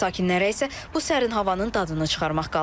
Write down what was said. Sakinlərə isə bu sərin havanın dadını çıxarmaq qalır.